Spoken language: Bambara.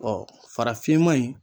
Bɔn farafinma in